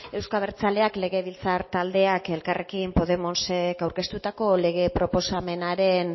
euzko abertzaleak legebiltzar taldeak elkarrekin podemosek aurkeztutako lege proposamenaren